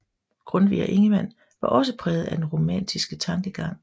Grundtvig og Ingemann var også præget af den romantiske tankegang